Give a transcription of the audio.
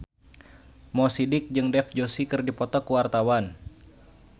Mo Sidik jeung Dev Joshi keur dipoto ku wartawan